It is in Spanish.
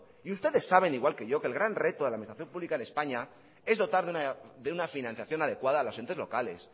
y ustedes saben igual que yo que el gran reto de la administración pública en españa es dotar de una financiación adecuada a los entes locales